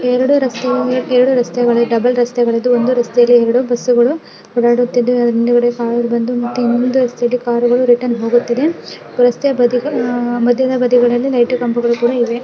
ಎರಡು ರಸ್ತೆಗಳಲ್ಲಿ ಎರಡು ರಸ್ತೆಗಳಲ್ಲಿ ಡಬಲ್ ರಸ್ತೆಗಳಿವೆ ಒಂದು ರಸ್ತೆಯಲ್ಲಿ ಬಸ್ಸುಗಳು ಹೊರಡುತ್ತೇವೆ ಇನ್ನೊಂದು ರಸ್ತೆಯಲ್ಲಿ ಕಾರುಗಳು ರಿಟರ್ನ್ ಹೋಗುತ್ತಿವೆ ರಸ್ತೆ ಬದಿ ಯಲ್ಲಿ ಲೈಟಿ ನ ಕಂಬಗಳು ಕೂಡ ಇವೆ.